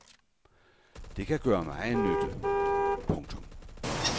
Det kan gøre megen nytte. punktum